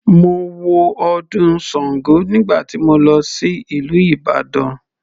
Mo wo ọdún sango nígbà tí mo lọ sí ìlú Ìbàdàn.